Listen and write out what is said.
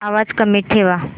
आवाज कमी ठेवा